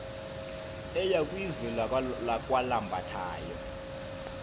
eya kwizwe lakwalambathayo